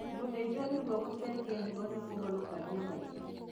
Gũthĩnjwo nĩguo gũcenjia higo nĩkũhonokagia maica